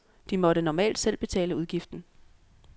De måtte normalt selv betale udgiften.